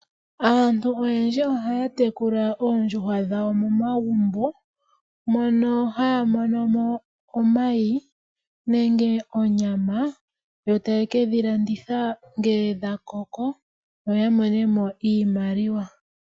Aantu oyendji ohaa tekula oondjuhwa dhawo momagumbo, mono haa mono mo omayi, nenge onyama, yo taye kedhi landitha ngele dhakoko, yo ya mone mo iimaliwa.